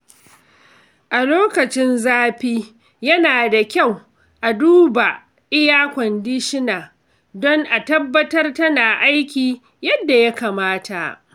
A lokacin zafi, yana da kyau a duba iya-kwandishina don a tabbatar tana aiki yadda ya kamata.